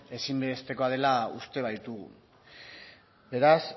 ezinbesteko dela uste baitugu beraz